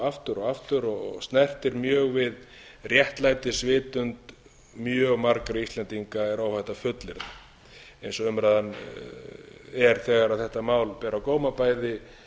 aftur og aftur og snertir mjög við réttlætisvitund mjög margra íslendinga er óhætt að fullyrða eins og umræðan er þegar þetta mál ber á góma bæði